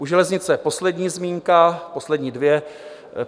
U železnice poslední zmínka, poslední dvě.